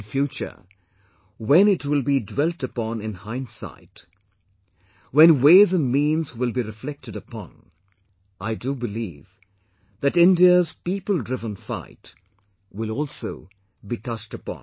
In future when it will be dwelt upon in hindsight; when ways and means will be reflected upon, I do believe that India's people driven fight will also be touched upon